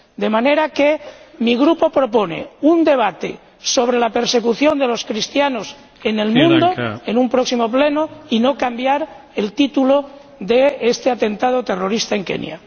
De manera que mi Grupo propone celebrar un debate sobre la persecución de los cristianos en el mundo en un próximo Pleno y no cambiar el título del debate sobre el atentado terrorista en Kenia.